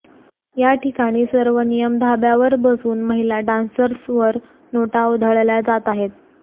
या ठिकाणी सर्व नियम धाब्यावर बसवून महिला डान्सर्सवर नोटा उधळल्या जात आहेत